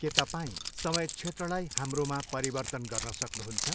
के तपाईँ समय क्षेत्रलाई हाम्रोमा परिवर्तन गर्न सक्नुहुन्छ?